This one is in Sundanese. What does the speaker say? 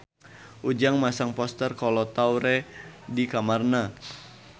Ujang masang poster Kolo Taure di kamarna